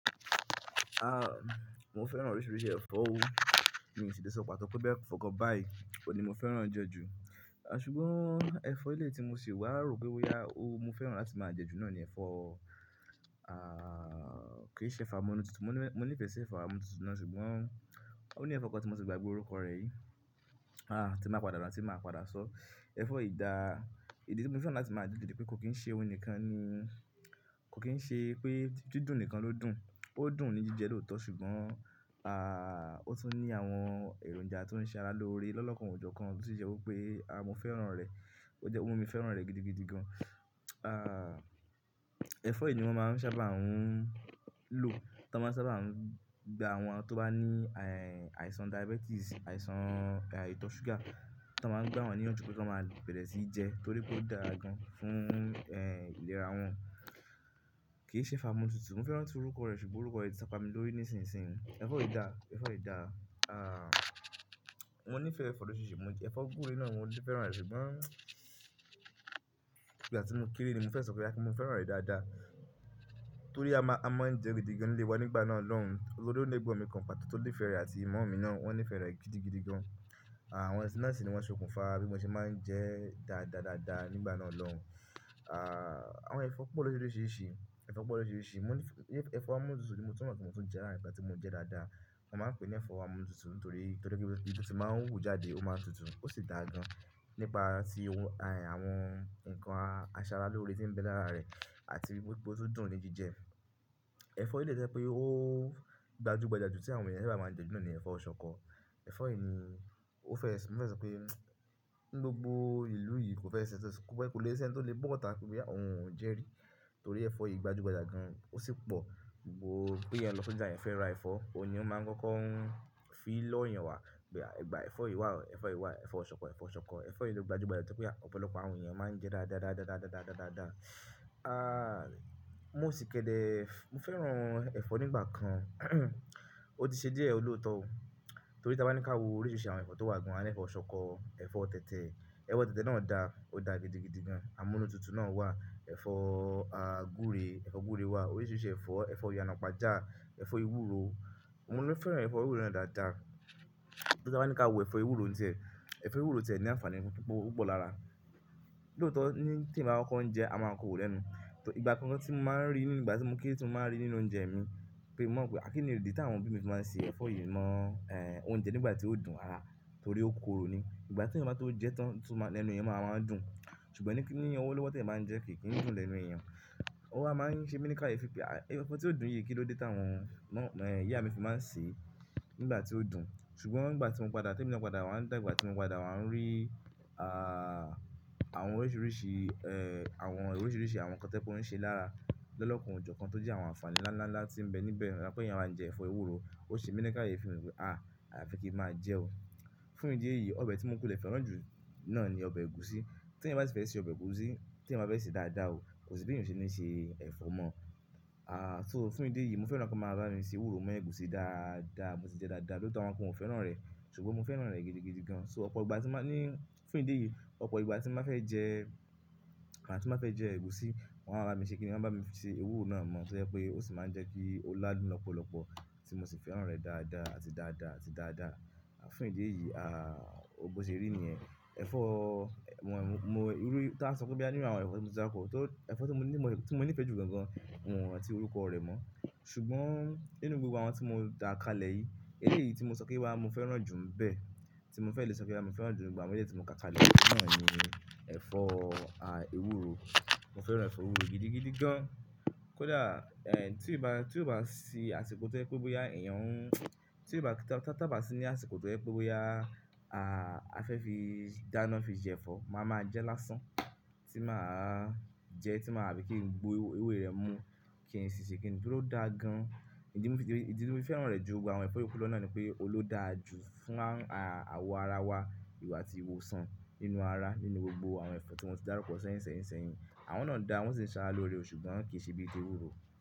Ah, mo fẹ́ràn oríṣiríṣi ẹ̀fọ́ o, mi ò si lè sọ pàtó pé boya ẹ̀fọ́ kan bá yìí oun ní mo fẹ́ràn je ju. Ṣùgbọ́n ẹ̀fọ́ eleyii tí mo sì wà rò pé boya o, mo fẹ́ràn láti máa jẹ ju náà ni ẹ̀fọ́, kìí ṣe ẹ̀fọ́ amúnútutù. Mo ní ìfe si ẹ̀fọ́ amúnútutù náà ṣùgbọ́n ó ní ẹ̀fọ́ kan tí mo ti gbagbe orúkọ rẹ̀ yìí. Ah, tí ba padà rántí màá padà sọ. Ẹ̀fọ́ ìda, èyí tí mo fẹ́ràn láti máa jẹ ju ni pé kò kín ṣe oun nìkan ni, kò kín ṣe pé dídùn nìkan ló dùn. Ó dùn ní jíjẹ lóòótọ́ ṣùgbọ́n ah, ó tún ní àwọn èròǹja tó ń ṣe ara lóore lọ́lọ́kàn ojò kan tó sì ṣe wípé mo fẹ́ràn rẹ̀. Ó mu mi fẹ́ràn rẹ̀ gidigidi gan. Ẹ̀fọ́ yìí ni wón máa ń sábà à ń lò, tí wón sábà ń gba àwọn tó bá ní àìsàn diabetes, àìsàn ìtọ́ ṣúgà, tí wón máa ń gbá wọn níyànjú pé ki wón máa bẹ̀rẹ̀ sí jẹ torí pé ó dára gan fún ìlera wọn. Kì í ṣe ẹ̀fọ́ amúnútutù, mo fẹ́ ràntí orúkọ rẹ̀ ṣùgbọ́n orúkọ yìí ti sa pa mi lórí nísinsìnyí. Ẹ̀fọ́ yìí da, ẹ̀fọ́ yìí da. Mo níìfẹ̀ẹ́ ẹ̀fọ́ lorisirisi, ẹ̀fọ́ gbúre náà mo fẹ́ràn re, ṣùgbọ́n ìgbà tí mo kéré ni mo fẹ́ sọ pé boya pe mo fẹ́ràn rẹ̀ dáadáa torí a máa ń jẹ gidigan ni ilé wa nígbà náà lọ́hùn. Torí o ni egbon mi kan pàtó tó nífẹ̀ẹ́ rẹ̀ àti mummy mi náà, wón nífẹ̀ẹ́ rẹ̀ gidigidi gan. Ah, wón sì máa ń ṣe òkùnfà bí mo ṣe máa ń jẹ dáadáadáadáa nígbà náà lọ́hùn. Àwọn ẹ̀fọ́ pọ̀ lọ̀ríṣiríṣi, ẹ̀fọ́ pọ̀ lọ̀ríṣiríṣi, ẹ̀fọ́ amúnútutù ni mo tún mọ̀ pé mo tún jẹ́ láàárín nkan tí mo jẹ dáadáa. Wọ́n máa ń pè é ní ẹ̀fọ́ amúnútutù torí torí pé bí ó ti máa ń hù jáde ó máa tutù ó sì dáa gan nípa ti àwọn nǹkan aṣaralóore tí ń bẹ lára rẹ̀ àti wípé ó tún dùn ní jíjẹ. Ẹ̀fọ́ eleyii to jẹ́ pé ó gbajúgbajà jù tí àwọn ènìyàn sábà máa ń jẹ ju náà ni ẹ̀fọ́ ṣọ̀kọ. Ẹ̀fọ́ yìí ni mo fẹ́ sọ pé ni gbogbó ìlú yìí kò fẹ́ ṣi, kò lè ṣe ẹ́ni tó lè bọ̀sita pé boya òun ò jẹ rí torí ẹ̀fọ́ yìí gbajúgbajà gan, ó sì pọ̀. Pé èèyàn lọ sí ibi tí eeyàn fẹ́ ra ẹ̀fọ́, òun ni won máa ń kọ́kọ́ ń fi lọ́ eeyàn wá, pé gba ẹ̀fọ́ yìí wá, ẹ̀fọ́ yìí wá, ẹ̀fọ́ ṣọ̀kọ, ẹ̀fọ́ ṣọ̀kọ. Ẹ̀fọ́ yìí ló gbajúgbajà ju to je pé ọ̀pọ̀lọpọ̀ àwọn èèyàn máa ń jẹ dáadáa mo sì kẹ́dẹ̀, mo fẹ́ràn ẹ̀fọ́ nígbà kan, ó ti ṣe díẹ̀ lóòótọ́ o torí tí wọ́n bá ní ká wo oríṣiríṣi àwọn ẹ̀fọ́ tó wà gan, á ní ẹ̀fọ́ ṣọ̀kọ, ẹ̀fọ́ tẹ̀tẹ̀. Ẹ̀fọ́ tẹ̀tẹ̀ náà dà, ó dà gidigidi gan. Amúnútutù náà wà, ẹ̀fọ́ gbúre, ẹ̀fọ́ gbúre wà. Oríṣiríṣi ẹ̀fọ́, ẹ̀fọ́ ìyanàpájà, ẹ̀fọ́ ewúro. Mo tun fẹ́ràn ẹ̀fọ́ ewúro náà dáadáa. Torí tí pe ta bá ní ká wo ẹ̀fọ́ ewúro ní tie, ẹ̀fọ́ ewúro ti e ní àǹfààní púpọ̀ púpọ̀ lára. Lóòótọ́ tí eeyan bá kokọ́ ń jẹ a máa koro lẹ́nu. Ìgbà kan tí mo máa ń rí, nígbà tí mo kéré tí mo máa ń rí nínú oúnjẹ mi pé mò ma n wo pe kíni ìdí tí àwọn people yìí se máa ń ṣe ẹ̀fọ́ yìí mọ́ oúnjẹ nígbà tí ó dùn rara torí ó korò ni. Ìgbà tí èèyàn bá to jẹ tán lẹ́nu èèyàn máa ma dùn ṣùgbọ́n ní ní ọwọ́ lówó ti èèyàn ba ń jẹ kìí dùn lẹ́nu èèyàn. Ó wa máa ń ṣe mi ní káye pé, ẹ̀fọ́ tí ó dùn yìí kín lóde tí àwọn ìyá mi fi máa ń sè nígbà tí ó dùn. Ṣùgbọ́n nígbà tí mo padà, tí èmi lọ padà wá dàgbà tí mo padà wá ń rí àwọn oríṣiríṣi àwọn oríṣiríṣi àwọn nǹkan to je pe on ṣe lára lọ́lokan o jọ̀kan tó jẹ́ àwọn àǹfààní ńlá ńlá tí ń bẹ níbẹ̀. Pé yẹn máa ń jẹ ẹ̀fọ́ ewúro, ó ṣe mi ní káye fi pé àyàfi kí ń máa jẹ́ o. Fún ìdí èyí ọbẹ̀ tí mo kunle fẹ́ràn jù náà ni ọbẹ̀ ẹ̀gúsí. Tí ẹ̀yin bá ti fẹ́ ṣe ọbẹ̀ ẹ̀gúsí, tí èèyàn ba fẹ̀ se dáadáa o, kò sí bí èèyàn o ṣe ní ṣe ẹ̀fọ́ mọ́. So fún ìdí èyí mo fẹ́ràn kí wọ́n máa bá mi ṣe ewúro mọ́ ẹ̀gúsí dáadáa, mo sì jẹ dáadáa. Lóòótọ́ awọ́n kan o fẹ́ràn rẹ̀ ṣùgbọ́n mo fẹ́ràn rẹ̀ gidigidi gan. So ọ̀pọ̀ ìgbà tí màá ní, fún ìdí èyí ọ̀pọ̀ ìgbà tí bá fẹ́ jẹ ẹ̀gúsí, wọ́nma ba mi fi ṣe kíni? Wọ́n bá mi ṣe ewúro náà mọ́ to je pé ó sì máa ń jẹ́ kí ó ládùn lọ́pọ̀lọpọ̀ tí mo sì fẹ́ràn rẹ̀ dáadáa àti dáadáa àti dáadáa. Fún ìdí èyí, bo ṣe rí nìyẹn. Ẹ̀fọ́, ta ba sọ pé boya nínú àwọn ẹ̀fọ́ tí mo ti dárukọ́, torí ẹ̀fọ́ tí mo nífe ju gangan ni rántí orúkọ rẹ̀ mọ̀. Ṣùgbọ́n nínú gbogbo àwọn tí mo dà kalẹ̀ yìí, èyí yìí tí mo sọ pé boya mo fẹ́ràn jù ńi bẹ́ẹ̀, tí mo fẹ́ lè sọ pé boya mo fẹ́ràn jù nínú gbogbo àwọn eleyii ti mo ka kalẹ̀ yìí náà ni ẹ̀fọ́ ewúro. Mo fẹ́ràn ẹ̀fọ́ ewúro gidigidi gan. Kódà tí ó bá si àsìkò tó jẹ́ pé bóyá èèyàn ń, tia bà sí ní àsìkò tó jẹ́ pé bóyá a fẹ́ fi dáná fi jẹ ẹ̀fọ́, màá máa jẹ lásán tí màá jẹ, àbí kí ń gbo ewé rẹ̀ mú kí ń sì ṣe kí ńi, torí o dára gan, ìdí tí mo fi fẹ́ràn re ju gbogbo àwọn ẹ̀fọ́ yi to ku lo nipe, oun lo dára ju fún awo ara wa àti ìwòsàn, nínú ara ti mo ti darukọ sẹ́yìn sẹ́yìn sẹ́yìn, àwọn na dára o won sin se ara loore, ṣùgbọ́n kii se bi ti ewúro.